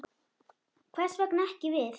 Hvers vegna ekki við?